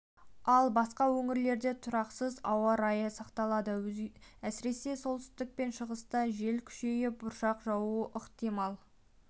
ал басқа өңірлерде тұрақсыз ауа райы сақталады әсіресе солтүстік пен шығыста жел күшейіп бұршақ жаууы ықтимал